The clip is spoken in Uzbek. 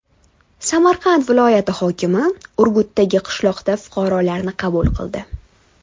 Samarqand viloyati hokimi Urgutdagi qishloqda fuqarolarni qabul qildi.